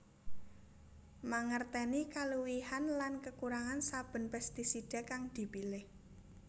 Mangertèni kaluwihan lan kekurangan saben pestisida kang dipilih